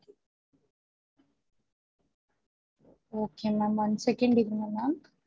Okay ma'am one second இருங்க ma'am